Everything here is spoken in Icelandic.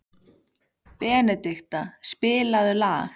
Benedikta, spilaðu lag.